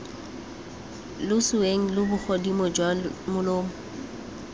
loseeng lo bogodimo jwa molomo